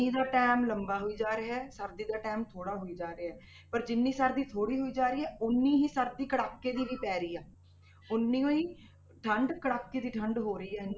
ਦਾ time ਲੰਬਾ ਹੋਈ ਜਾ ਰਿਹਾ ਹੈ, ਸਰਦੀ ਦਾ time ਥੋੜ੍ਹਾ ਹੋਈ ਜਾ ਰਿਹਾ ਹੈ ਪਰ ਜਿੰਨੀ ਸਰਦੀ ਥੋੜ੍ਹੀ ਹੋਈ ਜਾ ਰਹੀ ਹੈ, ਉੱਨੀ ਹੀ ਸਰਦੀ ਕੜਾਕੇ ਦੀ ਵੀ ਪੈ ਰਹੀ ਹੈ ਉੱਨੀ ਹੋਈ, ਠੰਢ ਕੜਾਕੇ ਦੀ ਠੰਢ ਹੋ ਰਹੀ ਹੈ।